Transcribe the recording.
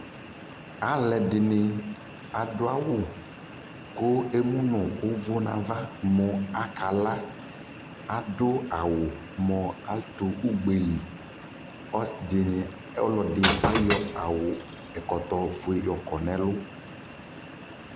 Alʋɛdɩnɩ adʋ awʋ kʋ emu nʋ ʋvʋ nʋ ava mʋ akala Adʋ awʋ mʋ atʋ ugbe li Ɔsɩ dɩnɩ, ɔlɔdɩ ayɔ awʋ ɛkɔtɔ fue yɔkɔ nʋ ɛlʋ